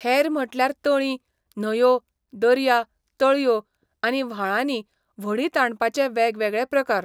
हेर म्हटल्यार तळीं, न्हंयो, दर्या, तळयो आनी व्हाळांनी व्हडीं ताणपाचे वेगवेगळे प्रकार.